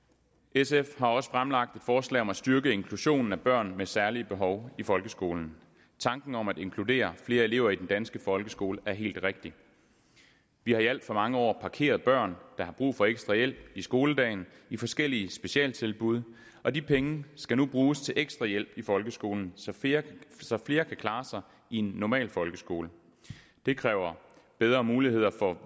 sf har også fremlagt et forslag om at styrke inklusionen af børn med særlige behov i folkeskolen tanken om at inkludere flere elever i den danske folkeskole er helt rigtig vi har i alt for mange år parkeret børn der har brug for ekstra hjælp i skoledagen i forskellige specialtilbud og de penge skal nu bruges til ekstra hjælp i folkeskolen så flere så flere kan klare sig i en normal folkeskole det kræver bedre muligheder for